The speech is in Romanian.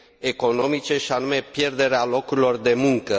economice și anume pierderea locurilor de muncă.